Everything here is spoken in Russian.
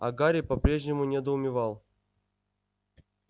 а гарри по-прежнему недоумевал